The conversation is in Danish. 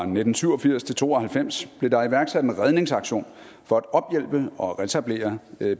nitten syv og firs til to og halvfems blev der iværksat en redningsaktion for at ophjælpe og reetablere